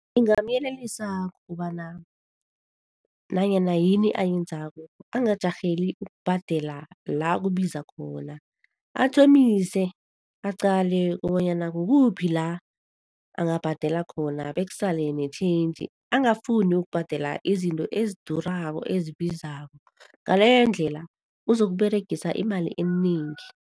Ngingamyelelisa ngokobana nanyana yini ayenzako angajarheli ukubhadela la kubiza khona. Athomise aqale kobanyana kukuphi la angabhadela khona bekusale ne-change. Angafuni ukubhadela izinto ezidurako, ezibizako, ngaleyo ndlela ozokuberegisa imali enengi.